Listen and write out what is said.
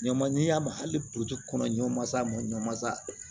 Ɲaman ɲin'a ma hali puruke kɔnɔ ɲɔn man s'a ma ɲɔsa